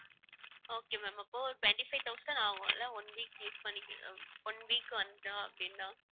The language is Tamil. okay ma'am அப்போ twenty-five thousand ஆகும் இல்ல one week use பண்ணிக்க~ one week வந்தோம் அப்படின்னா?